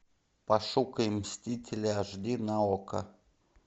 пошукай мстители аш ди на окко